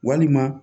Walima